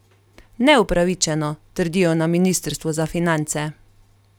Neupravičeno, trdijo na ministrstvu za finance.